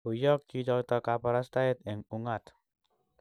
Koiyok chichotok kaparastaet eng' ung'at.